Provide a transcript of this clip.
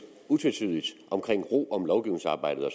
utvetydigt om ro om lovgivningsarbejdet og